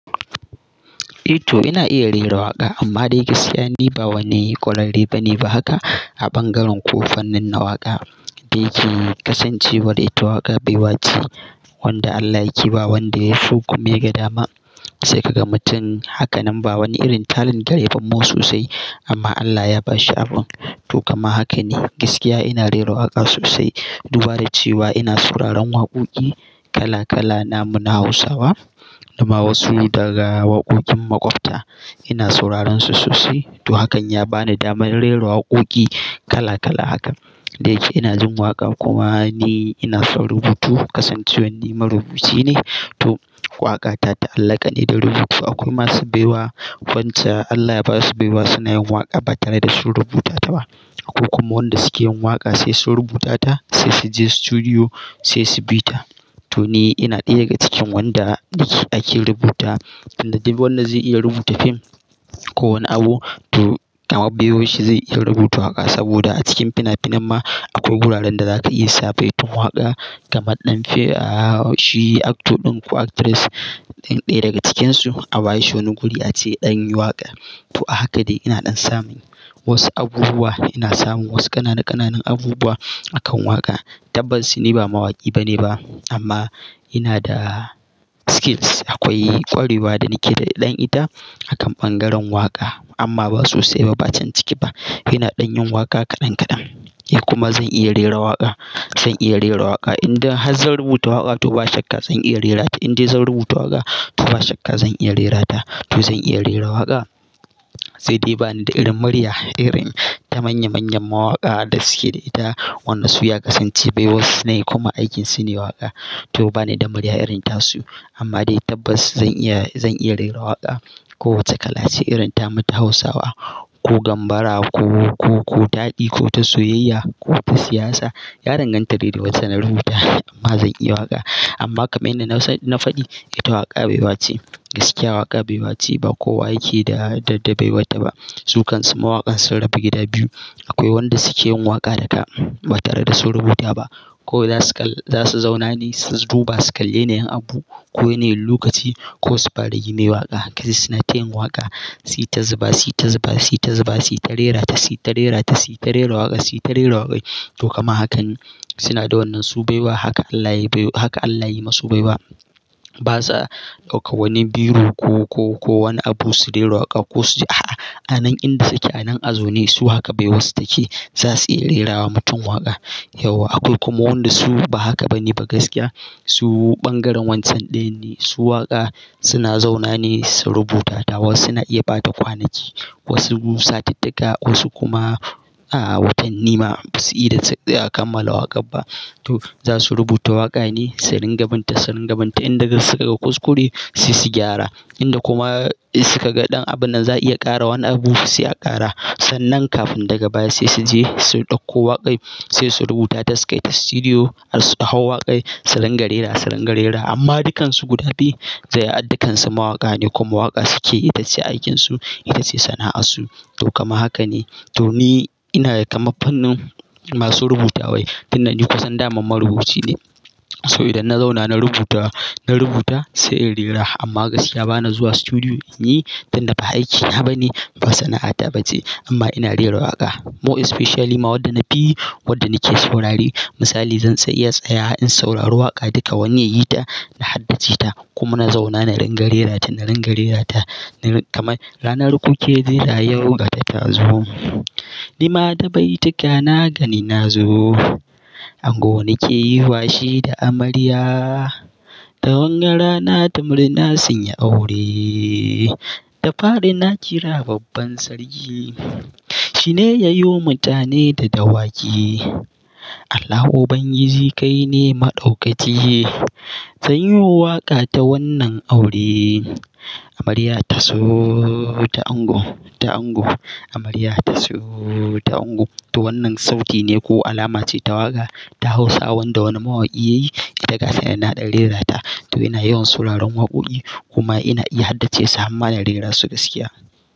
To ina iya rera waƙa amma dai gaskiya ni ba wani ƙwarera bane ba haka a bangaren ko fannin na waƙa. Dayake kasancewar ita waƙa baiwace wanda Allah yake ba wanda yaso kuma ya ga dama sai ka ga mutum haka nan ba wani irin talent gare ba ma sosai amma Allah ya bashi abun. To kama haka ne gaskiya ina rera waƙa sosai dubada cewa ina sauraron waƙoƙi kala kala namu na Hausawa da ma wasu daga waƙoƙin maƙwabta ina sauraron su sosai. To hakan ya bani damar rera waƙoƙi kala kala haka dai ke ina jin waƙa kuma ni ina son rubutu kasancewan ni marubuci ne. To waƙa ta ta'allaka ne da rubutu akwai masu baiwa wanda Allah ya basu baiwa suna yin waƙa ba tare da sun rubuta ta ba. Akwai kuma wanda suke yin waƙa sai sun rubuta ta sai su je sutudiyo sai su bi ta. To ni ina ɗaya daga cikin wanda ake rubuta tunda duk wanda zai iya rubuta fim ko wani abu to kama biyoshi zai iya rubuta waƙa saboda a cikin finafinan ma akwai guraren da zaka iya sa baitin waƙa kamar ɗan fim ahh shi actor ɗin ko actress ɗin ɗaya daga cikinsu a bashi wani guri ace ɗan yi waƙa. To haka dai ina ɗan samun wasu abubuwa ina samun wasu ƙananan ƙananan abubuwa akan waƙa. Tabbas ni ba mawaƙi bane ba amma ina da skills akwai ƙwarewa da nake da ɗan ita akan bangaren waƙa amma ba sosai ba bacan ciki ba. Ina ɗan yin waƙa kaɗan kaɗan kuma zan iya rera waƙa zan iya rera waƙa idan har zan rubuta waƙa to ba shakka zan iya rerata. Idai zan rubuta waƙa to ba shakka zan iya rerata to zan iya rera waƙa sai dai bani da irin murya irin ta manya manyan mawaƙa da suke da ita. Wadan su ya kasance bai wasu na yi kuma aikin su ne waƙa. To bani da murya irin tasu amma dai tabbas zan iya zan iya rera waƙa kowace kala ce irin ta mu ta Hausawa ko Gambara ko ko taɗi ko ta soyayya ko ta siyasa ya danganta dai da wace na rubuta amma zan iya waƙa. Amma kamar yadda na faɗi ita waƙa baiwace gaskiya waƙa baiwace ba ko wa yake da da dabaiwata ba. Sukansu mawaƙan sun raba gida biyu akwai wanda suke yin waƙa da ka ba tare da su rubuta ba kawai zasu kal za su zauna ne su duba su kalli yin abu ko yana yin lukaci ko su gine waƙa. Zakaji su suna tayin waƙa suyita zuba suyita zuba suyita zuba suyita rerata suyita rerata suyita rera waƙa suyita rera waƙa. To kaman haka ne suna da wannan su baiwa haka Allah yayi haka Allah yayi musu baiwa. Basa ɗauka wani biro ko ko ko wani abu su rera waƙa ko su ji a'a a nan inda suke a nan a zaune su haka baiwa su take zasu iya rerawa mutum waƙa. Yauw akwai kuma wanda su ba haka bane ba gaskiya su bangaren wancan ɗayan ne su suna zauna ne su rubuta ta wasu suna iya ɓata kwanaki wasu satittika wasu kuma ahh watanni ma basu iya kamala waƙar ba. To za su rubuta waƙa ne sai ringa binta sai ringa binta inda suka ga kuskure sai su gyara inda kuma suka ga ɗan abun nan za a iya ƙara wani abu sai a ƙara. Sannan kafin daga baya sai su je su ɗauko waƙar sai su rubuta ta su kai ta sutudiyo har su hau waƙar su ringa rerawa su ringa rerawa amma dukansu guda biyu dai dukansu mawaƙa ne kuma waƙa suke itace aikinsu itace sana'a su to kama haka ne. To ni ina kaman fannin masu rubutawae fi na ni kusan daman marubuci ne saboda idan na zauna na rubuta na rubuta sai in rera amma gaskiya bana zuwa sutudiyo ni tunda ba aikina bane ba sana'ata bace amma ina rera waƙa. More especially ma wanda na fi wanda nake saurare misali zan tsai iya tsaya in saurari waƙa daga wani yita na haddace ta kuma na zauna na ringa rerata na ringa rerata na kama ranar ku ke rera yau ga ta ta zo. Ni ma da baituka na gani na zo. Ango nake yiwa shi da amarya. Da wanga rana ta murna sun yi aure. Da fari na kira babban sarki. Shine yayo mutane da dawaki. Allah ubangiji kai ne maɗaukaki. Zan yi waƙa ta wannan aure. Amarya ta zo ta ango ta ango amarya ta so ta ango. To wannan sauti ne ko alama ce ta waƙa ta Hausa wanda wani mawaƙi yayi ita gatanan na ɗan rerata. To ina yawan sauraron waƙoƙi kuma ina iya haddace su amma ina rerarsu gaskiya.